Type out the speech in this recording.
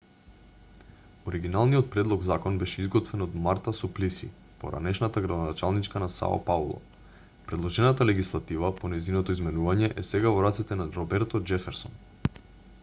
оригиналниот предлог-закон беше изготвен од марта суплиси поранешната градоначалничка на сао пауло предложената легислатива по нејзиното изменување е сега во рацете на роберто џеферсон